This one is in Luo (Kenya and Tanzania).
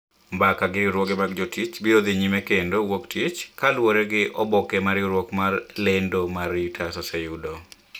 Mbaka gi riwruoge mag jotich biro dhi nyime kendo wuok tich ,kaluwore gi oboke ma riwruok mar lendo mar reuters oseyudo.